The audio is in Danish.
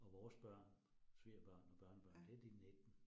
Og vores børn, svigerbørn og børnebørn det de 19